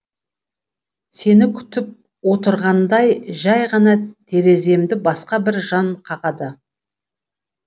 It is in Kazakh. сені күтіп отырғандай жәй ғана тереземді басқа бір жан қағады